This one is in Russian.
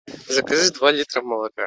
закажи два литра молока